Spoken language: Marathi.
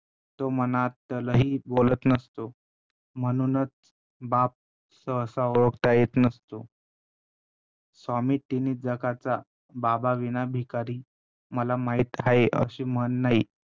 तो मनातलंही बोलत नसतो म्हणूनच बाप सहसा ओळखता येत नसतो, स्वामी तिन्ही जगाचा बाबाविना भिकारी मला माहित आहे अशी म्हण नाही.